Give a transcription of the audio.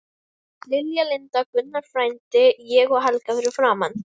Lilja, Linda, Gunnar frændi, ég og Helga fyrir framan.